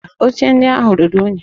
Mba, oche ndị ahụ ruru unyi